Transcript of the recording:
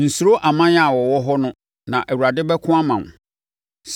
Nsuro aman a wɔwɔ hɔ no na Awurade bɛko ama wo.”